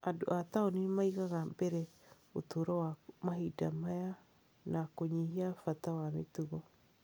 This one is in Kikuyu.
Andũ a taũni nĩ maigaga mbere ũtũũro wa mahinda maya na kũnyihia bata wa mĩtugo.